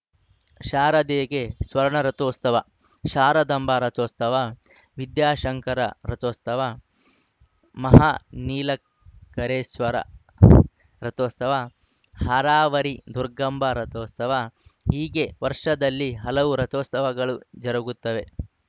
ಶಾರದೆಗೆ ಸ್ವರ್ಣರಥೋತ್ಸವ ಶಾರದಾಂಬಾ ರಥೋತ್ಸವ ವಿದ್ಯಾಶಂಕರ ರಥೋತ್ಸವ ಮಹಾ ನಿಲ ಕರೇಶ್ವರ ರಥೋತ್ಸವ ಹರಾವರಿ ದುರ್ಗಾಂಬಾ ರಥೋತ್ಸವ ಹೀಗೆ ವರ್ಷದಲ್ಲಿ ಹಲವು ರಥೋತ್ಸವಗಳು ಜರುಗುತ್ತವೆ